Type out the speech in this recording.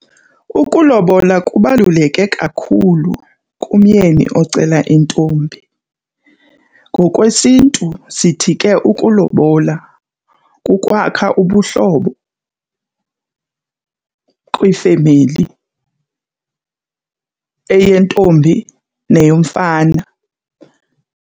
Ukulobola kubaluleke kakhulu kumyeni ocela intombi. NgokwesiNtu sithi ke ukulobola kukwakha ubuhlobo kwiifemeli, eyentombi neyomfana.